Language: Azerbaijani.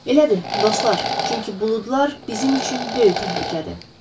Elədir, dostlar, çünki buludlar bizim üçün böyük təhlükədir.